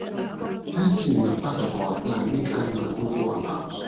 fencing na part of our plan make animal no go about